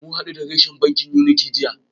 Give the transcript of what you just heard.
Mun hadu a reshen bankin Unity jiya.